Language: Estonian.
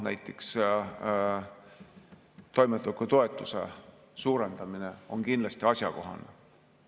Näiteks toimetulekutoetuse suurendamine on kindlasti asjakohane.